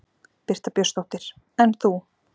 Birta Björnsdóttir: En þú?